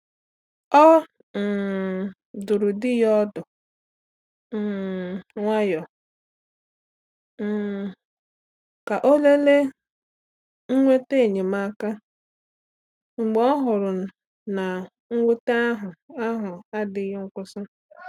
Ọ um dụrụ di ya ọdụ um nwayọọ um ka ọ lelee inweta enyemaka, mgbe ọ hụrụ na mwute ahụ ahụ adịghị akwụsị.